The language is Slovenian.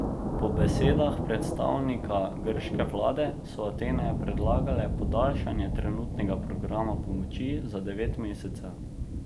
Po besedah predstavnika grške vlade so Atene predlagale podaljšanje trenutnega programa pomoči za devet mesecev.